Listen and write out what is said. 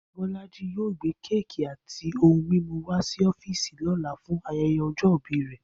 Bó̩lájí yóò gbé kéèkì àti ohun mímú wá sí ó̩fíìsì ló̩la fún aye̩ye̩ o̩jó̩ ìbí rè̩